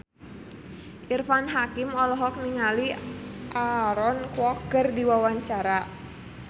Irfan Hakim olohok ningali Aaron Kwok keur diwawancara